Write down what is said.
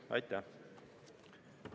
Aitäh!